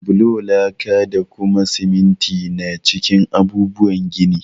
Bulo, laka, da kuma siminti na cikin abubuwan gini.